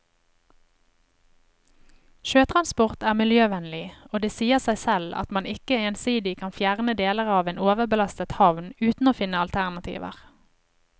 Sjøtransport er miljøvennlig, og det sier seg selv at man ikke ensidig kan fjerne deler av en overbelastet havn uten å finne alternativer.